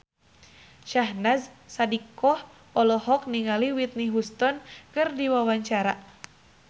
Syahnaz Sadiqah olohok ningali Whitney Houston keur diwawancara